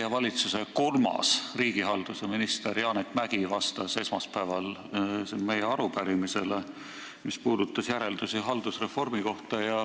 Teie valitsuse kolmas riigihalduse minister Janek Mäggi vastas esmaspäeval meie arupärimisele haldusreformi järelduste kohta.